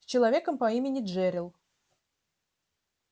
с человеком по имени джерилл